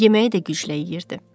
Yeməyi də güclə yeyirdi.